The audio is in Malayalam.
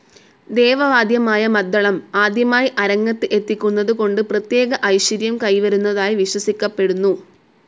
ദേവ വാദ്യമായ മദ്ദളം ആദ്യമായി അരങ്ങത്ത് എത്തിക്കുന്നതു കൊണ്ട് പ്രത്യേക ഐശ്വര്യം കൈവരുന്നതായി വിശ്വസിക്കപ്പെടുന്നു.